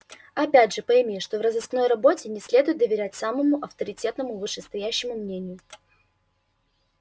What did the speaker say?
опять же пойми что в розыскной работе не следует доверять самому авторитетному вышестоящему мнению